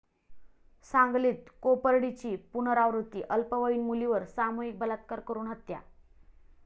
सांगलीत कोपर्डीची पुनरावृत्ती, अल्पवयीन मुलीवर सामूहिक बलात्कार करून हत्या